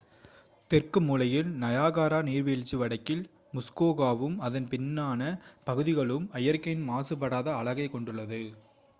தெற்கு மூலையில் நயாகரா நீர்வீழ்ச்சி வடக்கில் முஸ்கோகாவும் அதன் பின்னான பகுதிகளும் இயற்கையின் மாசுபடாத அழகைக் கொண்டுள்ளது